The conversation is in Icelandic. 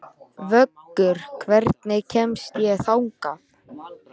Vöggur, hvernig kemst ég þangað?